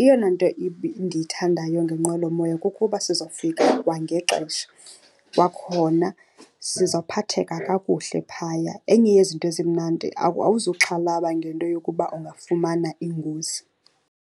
Eyona nto ndiyithandayo ngenqwelomoya kukuba sizofika kwangexesha. Kwakhona sizawuphatheka kakuhle phaya. Enye yezinto ezimnandi awuzuxhalaba ngento yokuba ungafumana ingozi.